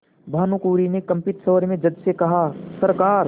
भानुकुँवरि ने कंपित स्वर में जज से कहासरकार